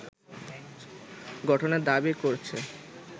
গঠনের দাবি করছে